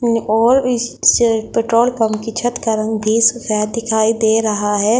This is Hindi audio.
ओर इससे पेट्रोल पम्प कि छत का रंग भी सफेद देखाइ दे रहा है।